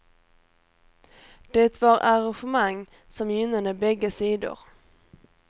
Det var arrangemang som gynnade bägge sidor.